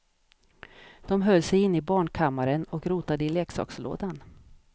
De höll sig inne i barnkammaren och rotade i leksakslådan.